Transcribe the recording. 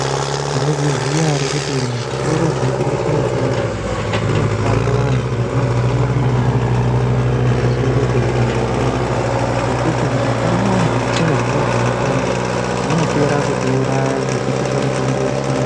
Mwaizviziya ere kuti muzvitoro zvinotengese mitombo munoshanda vantu vanoziya maringe pamusoro pezvehutombo ngekuti mukashanda vantu vasikazii zvemutombo vanopera kutiuraya ngekutipa mutombo isiyo.